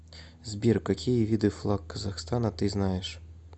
сбер какие виды флаг казахстана ты знаешь